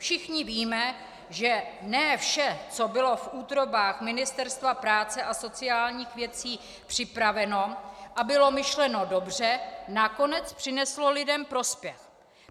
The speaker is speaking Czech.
Všichni víme, že ne vše, co bylo v útrobách Ministerstva práce a sociálních věcí připraveno a bylo myšleno dobře, nakonec přineslo lidem prospěch.